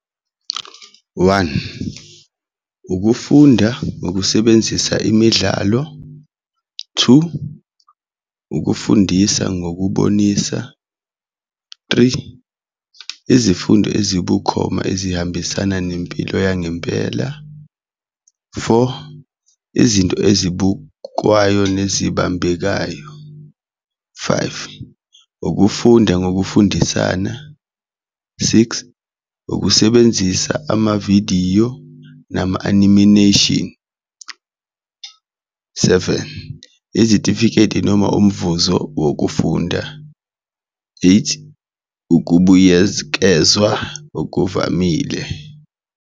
One, ukufunda ngokusebenzisa imidlalo, two, ukufundisa ngokubonisa, three, izifundo ezibukhoma ezihambisana nempilo yangempela, four, izinto ezibukwayo nezibambekayo, five, ukufunda ngokufundisana six, ukusebenzisa amavidiyo nama-anamination. Seven, izitifiketi noma umvuzo wokufunda, eight, okuvamile.